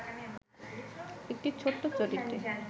একটি ছোট্ট চরিত্রে